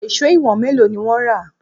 Èṣó ìwọ̀n mélòó ni wọ́n rà?